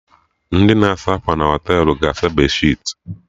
Ndị na-asa akwa na Họtelụ ga-asa bedsheetị